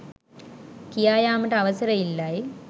කියා යාමට අවසර ඉල්ලයි.